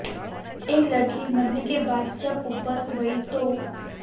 एक लड़की मरने के बाद जब ऊपर गयी तो